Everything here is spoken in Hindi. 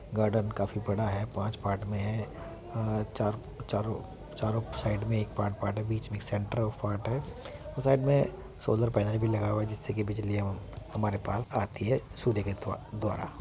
गार्डेन काफी बड़ा है पांच पार्ट मे है। अ चार चरो चारो साइड मे एक पार्ट है बीच मे एक सेंटर ऑफ़ पार्ट है और साइड मे सोलर पैनल भी लगा हुआ है जिससे की बिजलियाँ हमारे पास आती है सूर्य के द्व द्वारा --